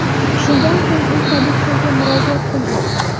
Shundan so‘ng u politsiyaga murojaat qilgan.